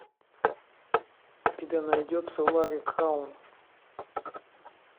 у тебя найдется ларри краун